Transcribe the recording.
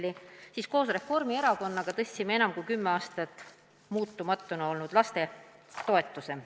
Siis tõstsime koos Reformierakonnaga enam kui kümme aastat muutumatuna püsinud lastetoetust.